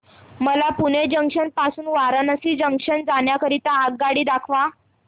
मला पुणे जंक्शन पासून वाराणसी जंक्शन जाण्या करीता आगगाडी दाखवा